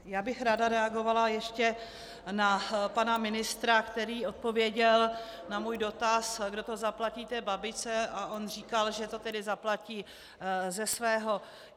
Já bych ráda reagovala ještě na pana ministra, který odpověděl na můj dotaz, kdo to zaplatí té babičce, a on říkal, že to tedy zaplatí ze svého.